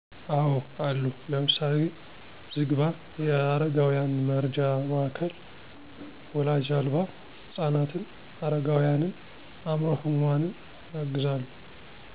አወ አሉ። ለምሳሌ፦ ዝግባ የአረጋውያን መርጃ ማዕከል ወላጅ አልባ ህፃናትን፣ አረጋውያንን፣ አምዕሮ ህሙማንን ያግዛሉ።